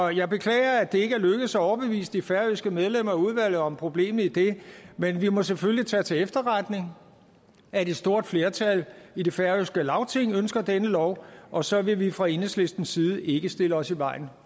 jeg beklager at det ikke er lykkedes at overbevise de færøske medlemmer af udvalget om problemet i det men vi må selvfølgelig tage til efterretning at et stort flertal i det færøske lagting ønsker denne lov og så vil vi fra enhedslistens side ikke stille os i vejen